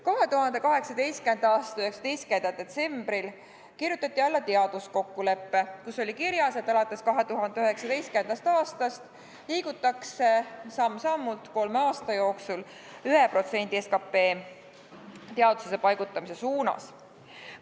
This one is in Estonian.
2018. aasta 19. detsembril kirjutati alla teaduskokkulepe, kus oli kirjas, et alates 2019. aastast liigutakse samm-sammult kolme aasta jooksul selle poole, et teadusesse paigutatakse 1% SKT-st.